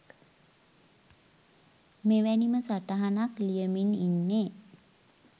මෙවැනිම සටහනක් ලියමින් ඉන්නේ